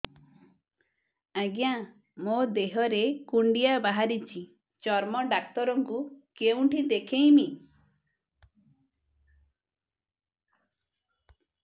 ଆଜ୍ଞା ମୋ ଦେହ ରେ କୁଣ୍ଡିଆ ବାହାରିଛି ଚର୍ମ ଡାକ୍ତର ଙ୍କୁ କେଉଁଠି ଦେଖେଇମି